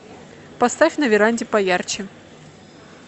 поставь на веранде поярче